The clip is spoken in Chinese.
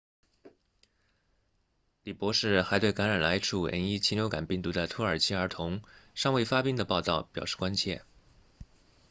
李博士还对感染了 h5n1 禽流感病毒的土耳其儿童尚未发病的报道表示关切